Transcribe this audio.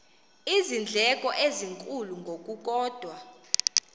iindleko ezinkulu ngokukodwa